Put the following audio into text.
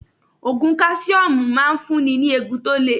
Ògùn káṣíọ́mù ń máa ń fún ni ní eegun tó le.